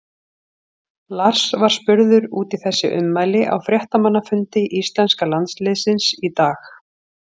Lars var spurður út í þessi ummæli á fréttamannafundi íslenska landsliðsins í dag.